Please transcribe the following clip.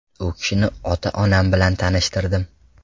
U kishini ota-onam bilan tanishtirdim.